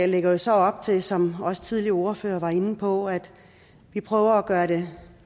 lægger jo så op til som også tidligere ordførere har været inde på at vi prøver at gøre det